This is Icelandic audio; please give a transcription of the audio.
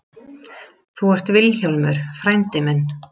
Þú ert Vilhjálmur frændi minn.